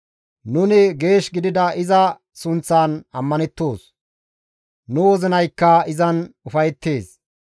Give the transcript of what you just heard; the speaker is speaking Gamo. Nuni geesh gidida iza sunththan ammanettoos; nu wozinaykka izan ufayettees.